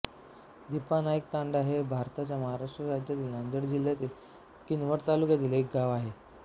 दिपानाईकतांडा हे भारताच्या महाराष्ट्र राज्यातील नांदेड जिल्ह्यातील किनवट तालुक्यातील एक गाव आहे